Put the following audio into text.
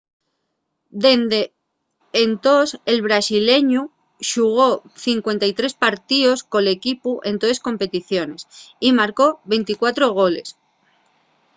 dende entós el brasileñu xugó 53 partíos col equipu en toles competiciones y marcó 24 goles